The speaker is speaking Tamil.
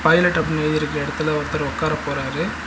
பைலட் அப்படின்னு எழுதி இருக்க எடத்துல ஒருத்தர் உக்கார போறாரு.